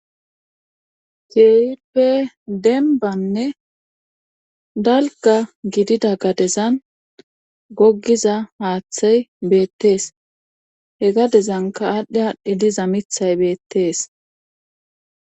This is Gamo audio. Keehippe dembbane dalgga gidida gadezan goggiza haathay beetes he gadezanka haathay aadhi aadhi diza mithay beettees